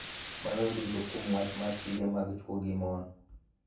Maloyo duto kuom wach mar tije mag chwo gi mon.